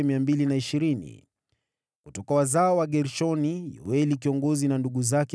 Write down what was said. Kutoka wazao wa Gershoni, Yoeli kiongozi na ndugu zake 130.